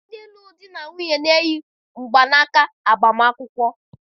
Ndị lụrụ di na nwunye na-eyi mgbanaka agbamakwụkwọ